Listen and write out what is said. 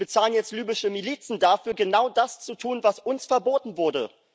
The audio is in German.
Wir bezahlen jetzt libysche Milizen dafür, genau das zu tun, was uns verboten wurde.